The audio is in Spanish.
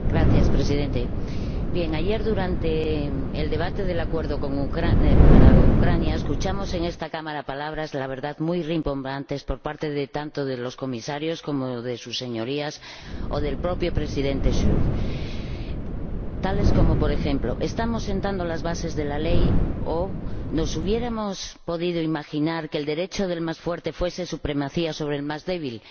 Señor Presidente, ayer, durante el debate del Acuerdo con Ucrania, escuchamos en esta Cámara palabras, la verdad, muy rimbombantes por parte tanto de los Comisarios como de sus Señorías o del propio Presidente Schulz, tales como, por ejemplo Estamos sentando las bases de la ley o ¿Nos hubiéramos podido imaginar que el derecho del más fuerte fuese supremacía sobre el del más débil?